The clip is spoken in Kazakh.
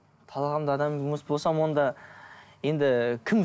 талғамдағы адам емес болсам онда енді кім